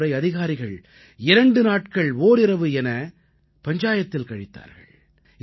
இந்த முறை அதிகாரிகள் 2 நாட்கள் ஓரிரவு என பஞ்சாயத்தில் கழித்தார்கள்